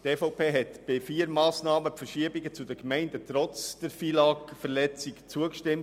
Die EVP hat trotz der FILAG-Verletzung vier der Massnahmen zugestimmt.